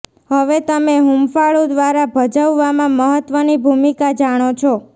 હવે તમે હૂંફાળું દ્વારા ભજવવામાં મહત્વની ભૂમિકા જાણો છો